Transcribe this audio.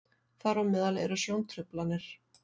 þar á meðal eru sjóntruflanir